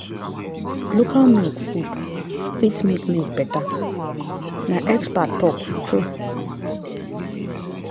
local milk food fit make milk better na expert talk true.